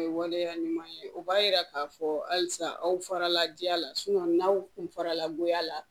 O ye waleya ɲuman ye o b'a jira k'a fɔ halisa aw farala ja la n'aw kun farala goya la